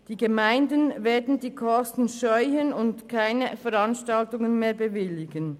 Diese Gemeinden werden die Kosten scheuen und keine Veranstaltungen mehr bewilligen.